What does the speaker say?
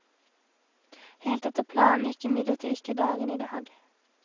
Helt etter planen gikk imidlertid ikke dagen i dag.